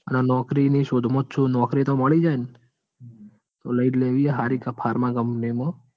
અને નોકરીની શોધ માં જ છું નોકરી તો મળી ન? તો લઇ જ લેવી હ હરિ pharma company મા.